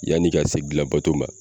Yanni ka se gilan bato ma